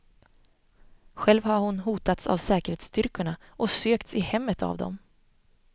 Själv har hon hotats av säkerhetsstyrkorna och sökts i hemmet av dem.